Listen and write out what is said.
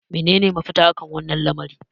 menene mafita? akan wannan lamari